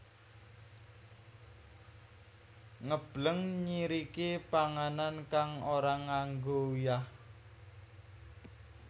Ngebleng nyiriki panganan kang ora nganggo uyah